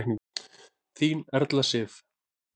Þín Erla Sif.